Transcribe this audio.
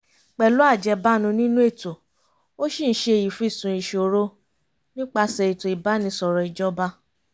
pẹ̀lú ajẹ́bánu nínú ètò ó ṣì ń ṣe ìfìsùn ìṣòro nípasẹ̀ ètò ìbánisọ̀rọ̀ ìjọba